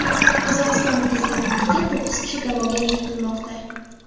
Qozog‘iston prezidentligiga to‘qqiz kishi da’vogarlik qilmoqda.